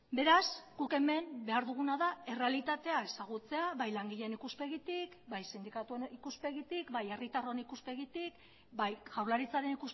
beraz guk hemen behar duguna da errealitatea ezagutzea bai langileen ikuspegitik bai sindikatuen ikuspegitik bai herritarron ikuspegitik bai jaurlaritzaren